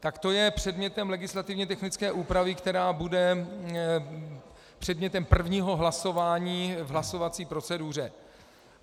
Tak to je předmětem legislativně technické úpravy, která bude předmětem prvního hlasování v hlasovací proceduře.